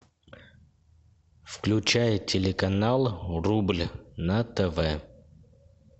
включай телеканал рубль на тв